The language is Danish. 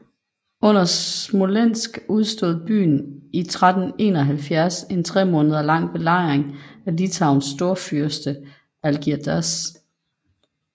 Under Smolensk udstod byen i 1371 en tremåneders lang belejring af Litauens storfyrste Algirdas